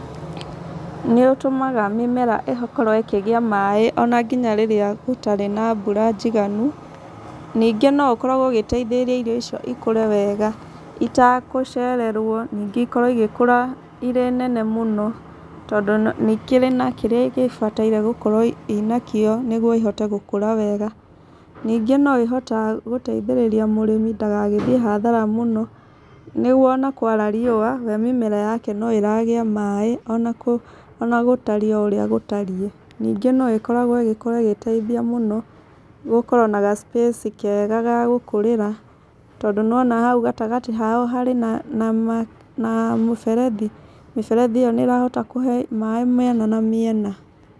Nĩ ũtũmaga mĩmera ĩkorwo ĩkĩgĩa maĩ ona nginya rĩrĩa gũtarĩ na mbura njiganu. Ningĩ no ũkoragwo ũgĩteithĩrĩria irio icio ikũre wega itakũcererwo, ningĩ ikorwo igĩkũra irĩ nene mũno tondũ nĩ ikĩrĩ na kĩrĩa igĩbataire gũkorwo ina kĩo nĩguo ihote gũkũra wega. Ningĩ no ĩhotaga gũteithĩrĩria mũrĩmi ndagagĩthiĩ hathara mũno, nĩguo ona kwara riũa, we mĩmera yake no ĩragĩa maĩ ona ona gũtariĩ o ũrĩa gũtariĩ. Ningĩ no ĩkoragwo ĩgĩkorwo ĩgĩteithia mũno gũkorwo na ga space kega ga gũkũrĩra. Tondũ nĩwona hau gatagatatĩ hao harĩ na na mũberethi. Mũberethi ũyũ nĩ ũrahote kũhe maĩ mĩena na mĩena,